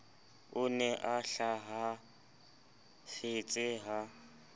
o ne a hlahafetse ha